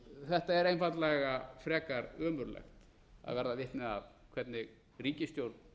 þetta er einfaldlega frekar ömurlegt að verða vitni að hvernig ríkisstjórn